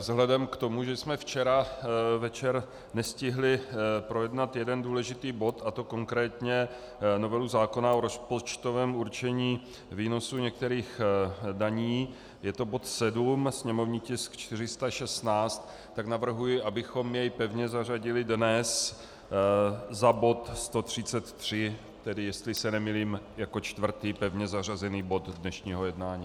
Vzhledem k tomu, že jsme včera večer nestihli projednat jeden důležitý bod, a to konkrétně novelu zákona o rozpočtovém určení výnosů některých daní, je to bod 7, sněmovní tisk 416, tak navrhuji, abychom jej pevně zařadili dnes za bod 133, tedy jestli se nemýlím jako čtvrtý pevně zařazený bod dnešního jednání.